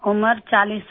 उम्र 40 साल